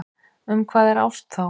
Um hvað er ást þá?